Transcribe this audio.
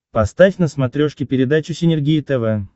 поставь на смотрешке передачу синергия тв